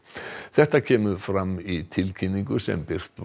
þetta kemur fram í tilkynningu sem birtist